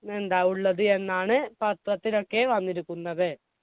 എന്താ ഉള്ളത് എന്നാണ് പത്രത്തിലൊക്കെ വന്നിരിക്കുന്നത്.